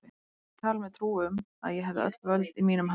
Ég hafði talið mér trú um, að ég hefði öll völd í mínum höndum.